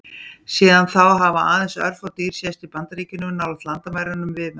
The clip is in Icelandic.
Síðan þá hafa aðeins örfá dýr sést í Bandaríkjunum, nálægt landamærunum við Mexíkó.